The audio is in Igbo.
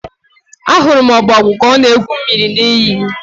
Ahụrụ m ọbogwu ka ọ na-egwu mmiri n'iyi.